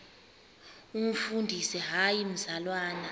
umfundisi hayi mzalwana